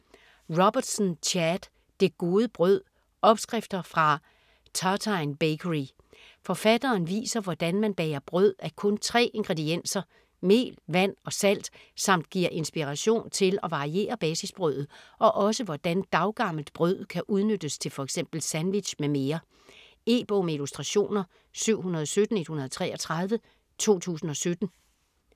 Robertson, Chad: Det gode brød: opskrifter fra Tartine Bakery Forfatteren viser hvordan man bager brød af kun tre ingredienser: mel, vand og salt samt giver inspiration til at variere basisbrødet og også hvordan daggammelt brød kan udnyttes til f.eks. sandwich m.m. E-bog med illustrationer 717133 2017.